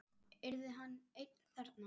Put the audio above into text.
Yrði hann einn þarna?